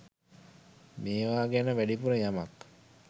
මේවා ගැන වැඩිපුර යමක්.